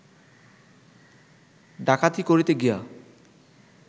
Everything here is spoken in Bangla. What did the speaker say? ডাকাতি করিতে গিয়া